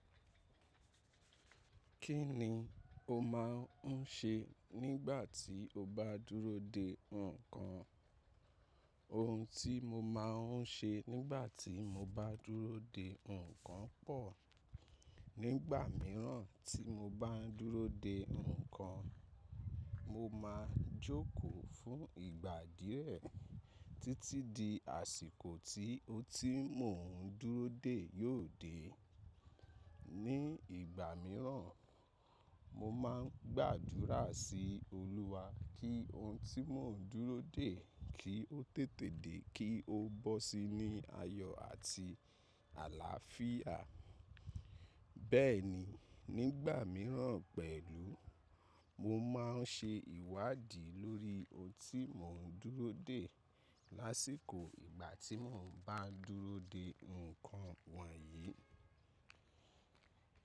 Kí ni o máà ń ṣe nígbà tí o bá dúró dè nǹkan? Ohun tí mo máa ń ṣe nígbà tí mo bá dúró dè nǹkan pò. Nígbà mìíràn tí mo bá ń dúró dè nǹkan, mo máa jókòó fún ìgbà díẹ̀ títí di àsìkò tí ohun tí mò ń dúró dè yóò dé. Ní ìgbà mìíràn, mo máa ń gbàdúrà sí Olúwa kí ohun tí mò ń dúró dè kí ó tètè dé kí ó bọ́ sí i ní ayọ̀ àti àlàáfíà. Bẹ́ẹ̀ ni, nígbà mìíràn pẹ̀lú, mo máa ń ṣe ìwádìí lórí ohun tí mò ń dúró dè lásìkò ìgbà tí mo bá ń dúró dè nǹkan wọ̀nyí.